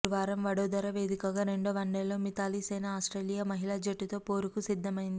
గురువారం వడోదర వేదికగా రెండో వన్డేలో మిథాలీసేన ఆస్ట్రేలియా మహిళా జట్టుతో పోరుకు సిద్ధమైంది